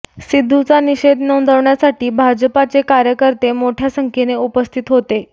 सिद्धूचा निषेध नोंदवण्यासाठी भाजपाचे कार्यकर्ते मोठ्या संख्येनं उपस्थित होते